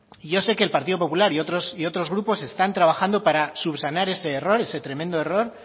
y yo sé que el partido popular y otros grupos están trabajando para subsanar ese error ese tremendo error